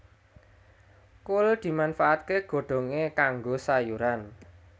Kul dimanfaatké godhongé kanggo sayuran